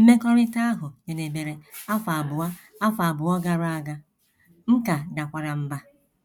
Mmekọrịta ahụ jedebere afọ abụọ afọ abụọ gara aga, m ka dakwara mbà